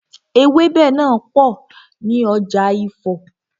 Ewẹ́bẹ̀ náà pò ní ọjà Ifo.